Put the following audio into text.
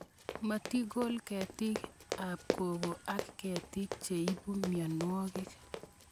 Matikol ketik ab koko ak ketik che ipu mianwogik